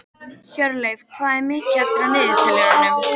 Hjörleif, hvað er mikið eftir af niðurteljaranum?